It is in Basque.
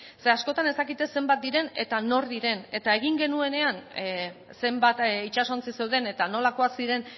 ze askotan ez dakite zenbat diren eta nor diren eta egin genuenean zenbat itsasontzi zeuden eta nolakoak ziren